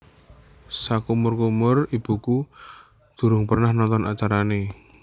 Sakumur umur ibuku durung pernah nonton acarane